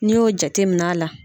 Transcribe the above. N'i y'o jatemin'a la